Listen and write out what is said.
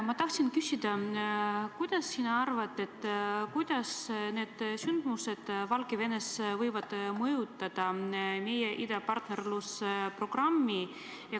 Ma tahan küsida, mis sina arvad, kuidas need sündmused Valgevenes võivad mõjutada meie idapartnerluse programmi.